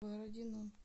бородино